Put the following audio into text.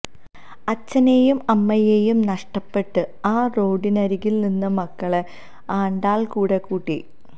അച്ഛനേയും അമ്മയേയും നഷ്ടപ്പെട്ട് ആ റോഡരികിൽ നിന്ന മക്കളെ ആണ്ടാൾ കൂടെ കൂട്ടി